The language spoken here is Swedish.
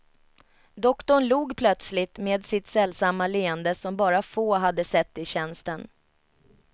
Doktorn log plötsligt med sitt sällsamma leende som bara få hade sett i tjänsten.